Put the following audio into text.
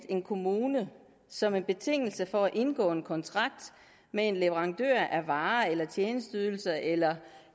en kommune som en betingelse for at indgå en kontrakt med en leverandør af varer tjenesteydelser eller